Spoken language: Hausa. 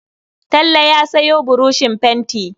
Talle ya sayo buroshin fenti.